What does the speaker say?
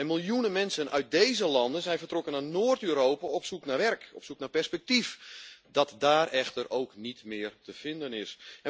Miljoenen mensen uit deze landen zijn vertrokken naar Noord Europa op zoek naar werk, op zoek naar perspectief dat daar echter ook niet meer te vinden is.